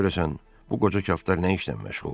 Görəsən bu qoca kaftar nə işlə məşğuldur?